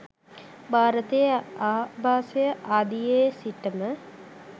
භාරතයේ ආභාසය ආදියේ සිට ම